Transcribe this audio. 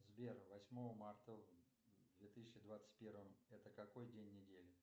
сбер восьмое марта в две тысячи двадцать первом это какой день недели